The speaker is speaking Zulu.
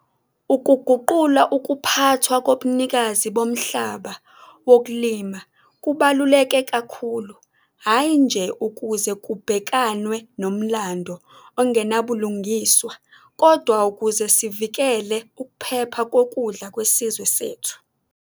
Ukuguqula ukuphathwa kobunikazi bomhlaba wokulima kubaluleke kakhulu hhayi nje ukuze kubhekanwe nomlando ongenabulungiswa, kodwa ukuze sivikele ukuphepha kokudla kwesizwe sethu.